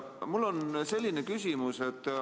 Mul on selline küsimus.